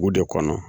Dugu de kɔnɔ